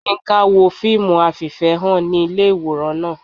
yinka wo fiimú afíféhán ni ilé iworán naa.